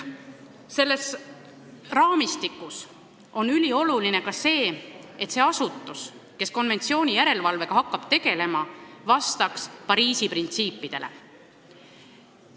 Selles raamistikus on ülioluline ka see, et see asutus, kes konventsiooni järelevalvega hakkab tegelema, vastaks Pariisi printsiipidele.